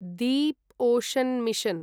deep ocean mission